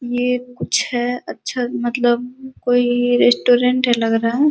ये कुछ है। अच्छा मतलब कोई रेस्टूरेन्ट है लग रहा है।